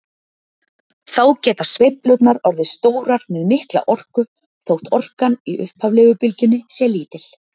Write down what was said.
Þá geta sveiflurnar orðið stórar með mikla orku þótt orkan í upphaflegu bylgjunni sé lítil.